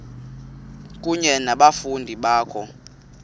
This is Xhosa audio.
kunye nabafundi bakho